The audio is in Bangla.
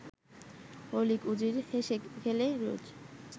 অলীক উজির হেসে-খেলে রোজ